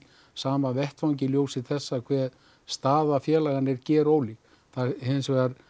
sama vettvangi í ljósi þess hve staða félaganna er gerólík það hins vegar